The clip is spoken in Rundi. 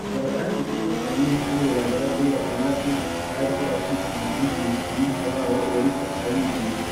kikaba kandi k'irimwo abanyeshuri bagera kuri batandatu bariko barakurikirana inyigisho umwigisha wabo yariko arabigisha.